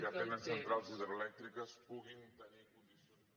que tenen centrals hidroelèctriques puguin tenir condicions